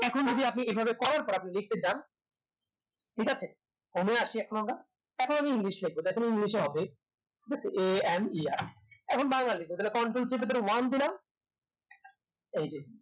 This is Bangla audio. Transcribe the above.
এখন যদি আপনি এভাবে করার পর আপনি দেখতে যান ঠিক আছে home এ আসি এখন আমরা এখন আমি english লেখবো এখন আমি english এ হবে ঠিক আছে a and এখন বাংলায় লিখব control চিপে ধরে one দিলাম এইযে